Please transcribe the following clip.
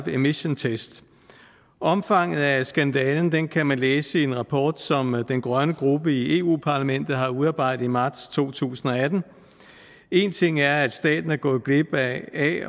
emission test omfanget af skandalen kan kan man læse i en rapport som den grønne gruppe i eu parlamentet har udarbejdet i marts to tusind og atten én ting er at staten er gået glip af